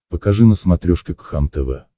покажи на смотрешке кхлм тв